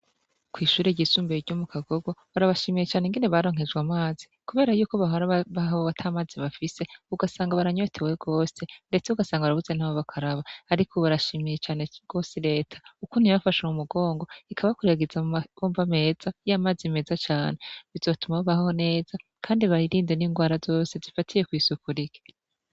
Kwishure ryisumbuye ryo mukagogo, barabashimiye cane ingene baronkejwe amazi. Kubera yuko bahora babaho atamazi bafise ugasanga baranyotewe gose ndetse ugasanga barabuze naho bakaraba ariko ubu barashimiye cane gose Leta kuko niyo yabafashe mumugongo ikabakwiragiza mumabombo meza y'amazi meza cane. Bizotuma babaho neza kandi birinde n'ingwara zose zifatiye kw'isuku rike.